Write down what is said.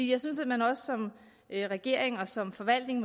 jeg synes at man også som regering og som forvaltning